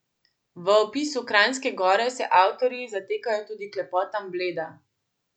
V opisu Kranjske Gore se avtorji zatekajo tudi k lepotam Bleda.